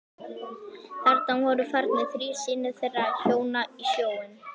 Þarna voru farnir þrír synir þeirra hjóna í sjóinn.